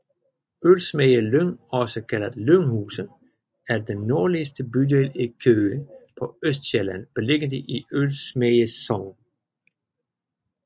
Ølsemagle Lyng også kaldet Lynghuse er den nordligste bydel i Køge på Østsjælland beliggende i Ølsemagle Sogn